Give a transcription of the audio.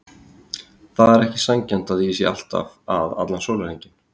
Það er ekki sanngjarnt að ég sé alltaf að allan sólarhringinn.